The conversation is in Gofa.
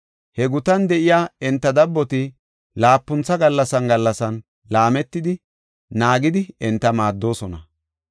He gutan de7iya enta dabboti laapuntha gallasan gallasan laametidi, naagidi enta maaddoosona.